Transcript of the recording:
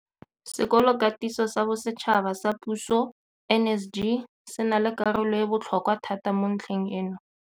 Sekolokatiso sa Bosetšhaba sa Puso NSG se na le karolo e e botlhokwa thata mo ntlheng eno.